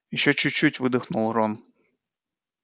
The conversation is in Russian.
ещё чуть-чуть выдохнул рон